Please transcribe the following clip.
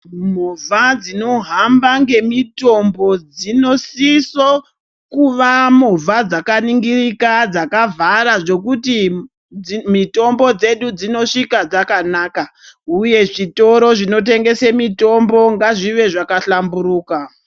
Movha dzinohamba ngemitombo dzinosiso kuva movha dzakaningirika, dzakavhara zvokuti mitombo dzedu dzinosvika dzakanaka, uye zvitoro zvinotengese mitombo ngazvive zvakahlamburuka.